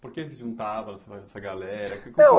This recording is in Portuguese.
Por que eles se juntavam essa galera? Não